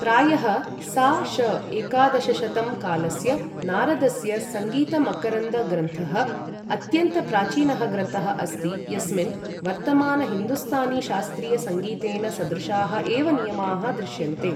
प्रायः सा.श.एकादशशतं कालस्य नारदस्य सङ्गीतमकरन्द ग्रन्थः, अत्यन्तप्राचीनः ग्रन्थः अस्ति यस्मिन् वर्तमान हिन्दुस्तानी शास्त्रीय सङ्गीतेन सदृशाः एव नियमाः दृश्यन्ते।